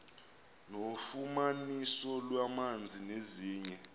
nofumaniso lwamanzi nezinye